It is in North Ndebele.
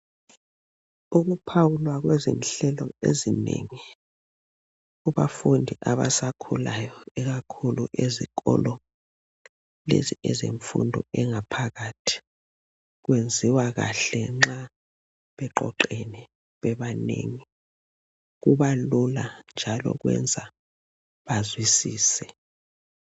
Ukuphawulwa kwezinhlelo ezinengi kubafundi abasakhulayo ikakhulu ezikolo lezi ezemfundo engaphakathi kwenziwa kahle nxa beqoqene bebanengi, kubalula njalo kwenza bazwisise.